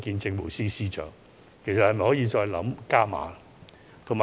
政府是否可以考慮再加碼呢？